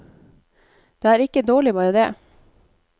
Det er ikke dårlig bare det.